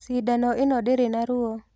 Cindano ino ndĩrĩ na ruo.